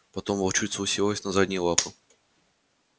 потом волчица уселась на задние лапы